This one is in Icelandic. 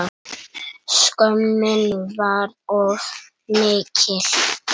Skömmin var of mikil.